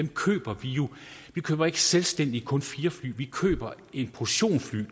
køber vi køber ikke selvstændigt kun fire fly vi køber en portion fly